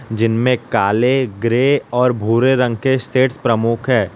जिनमें काले ग्रे और भूरे रंग के सेट्स प्रमुख है।